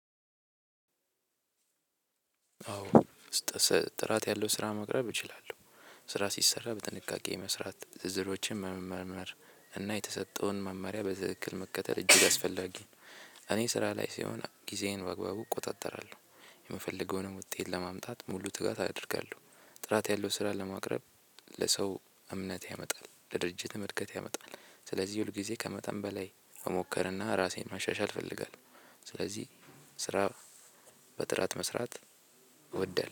አዎ ጥራት ያለው ስራ መቅረብ እችላለሁ። ስራ ሲሰራ በጥንቃቄ መስራት፣ ዝርዝሮችን በመመርመር እና የተሰጠውን መማሪያ በትክክል መከተል እጅግ አስፈላጊ እኔ ስራ ላይ ስሆን ጊዜዬን በአግባቡ እቆጣጠራለሁ። የምፈልገውንም ውጤት ለማምጣት ሙሉ ትጋት አደርጋለሁ። ጥራት ያለው ስራ ለማቅረብ ለሰው እምነት ያመጣል። ለድርጅትም እድገት ያመጣል። ስለዚህ ሁል ጊዜ ከመጠን በላይ መሞከርና ራሴን ማሻሻል ይፈልጋል። ስለዚህ ስራ በጥራት መስራት እወዳል